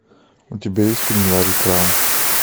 у тебя есть фильм ларри краун